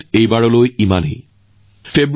ফেব্ৰুৱাৰী মাহত আকৌ আপোনালোকৰ লগত কথা পাতিম